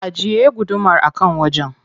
Ajiye gudumar a can wajen.